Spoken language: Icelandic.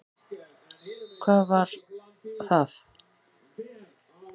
Hvað var var það?